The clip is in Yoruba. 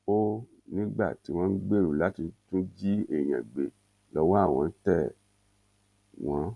ó nígbà tí wọn gbèrò láti tún jí èèyàn gbé lọwọ àwọn tẹ wọn